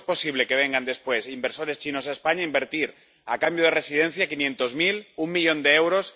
¿Cómo es posible que vengan después inversores chinos a España a invertir, a cambio de residencia, quinientos mil, un millón de euros?